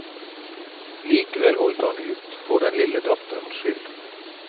Likevel holdt han ut, for den lille datterens skyld.